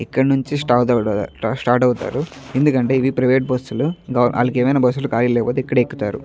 ఇక్కడి నుంచి స్టార్ట్ అవుతారు ఎందుకంటే ఇవి ప్రైవేట్ బస్సులు వాళ్ళకి ఏమైనా బస్సులు ఖాళీలు లేకపోతే ఇక్కడ ఎక్కుతారు.